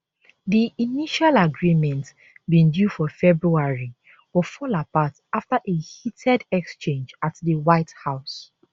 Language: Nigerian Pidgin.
di initial agreement bin due for february but fall apart after a heated exchange at di white house